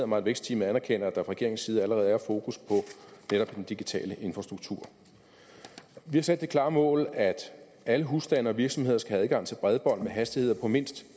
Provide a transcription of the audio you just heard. mig at vækstteamet anerkender at der fra regeringens side allerede er fokus på netop den digitale infrastruktur vi har sat det klare mål at alle husstande og virksomheder skal have adgang til bredbånd med hastigheder på mindst